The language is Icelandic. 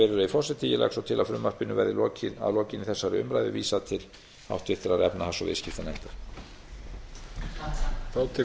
virðulegi forseti ég legg svo til að frumvarpinu verði að lokinni þessari umræðu vísað til háttvirtrar efnahags og viðskiptanefndar